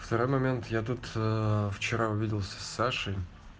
второй момент я тут аа вчера увиделся с сашей